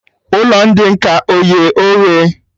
Ụlọ ndị nkà eye oghe?